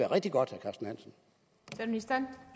rigtig godt